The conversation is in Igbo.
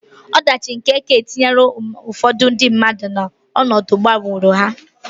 Ọdachi nke ekè etinyela ụfọdụ ndị mmadụ n'ọnọdụ gburu ha.